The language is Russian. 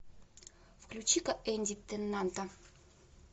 включи ка энди тенната